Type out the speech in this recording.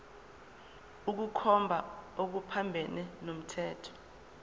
ukukhomba okuphambene nomthetho